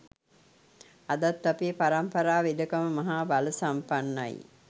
අදත් අපේ පරම්පරා වෙදකම මහා බලසම්පන්නයි